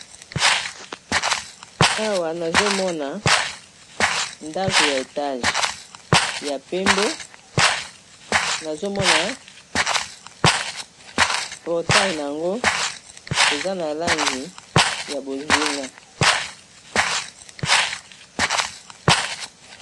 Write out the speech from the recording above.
Awa nazomona ndako ya etage ya pembe ,nazomona portails yango eza na langi ya bozinga.